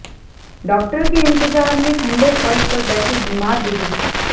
doctor के इंतजार में ठंडे फर्श पर बैठे बीमार बुजुर्ग